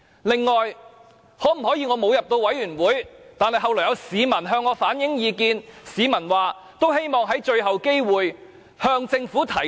此外，我沒有加入小組委員會，但後來有市民向我反映意見，表示希望我用最後機會向政府提出。